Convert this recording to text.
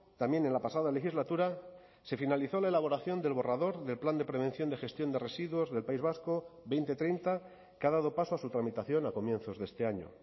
también en la pasada legislatura se finalizó la elaboración del borrador del plan de prevención de gestión de residuos del país vasco dos mil treinta que ha dado paso a su tramitación a comienzos de este año